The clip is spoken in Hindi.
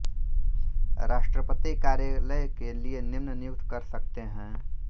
राष्ट्रपति कार्यालय के लिए निम्न नियुक्त कर सकते हैं